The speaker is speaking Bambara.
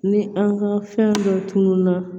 Ni an ka fɛn dɔ tununna